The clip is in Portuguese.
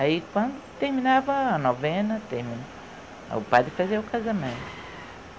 Aí quando terminava a novena, o padre fazia o casamento.